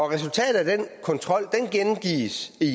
resultatet af den kontrol gengives